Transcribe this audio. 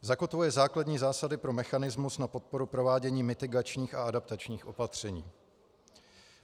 Zakotvuje základní zásady pro mechanismus na podporu provádění mitigačních a adaptačních opatření.